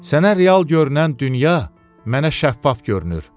Sənə real görünən dünya, mənə şəffaf görünür.